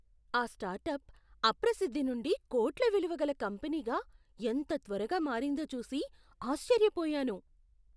ఆ స్టార్టప్ అప్రసిద్ధి నుండి కోట్ల విలువగల కంపెనీగా ఎంత త్వరగా మారిందో చూసి ఆశ్చర్యపోయాను.